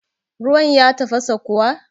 Ruwan ya tafasa kuwa?